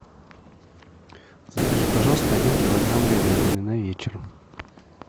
закажи пожалуйста один килограмм говядины на вечер